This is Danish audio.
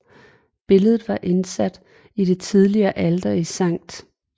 Billedet var indsat i det tidligere alter i Sct